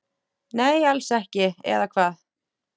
Nei, alls ekki, eða hvað?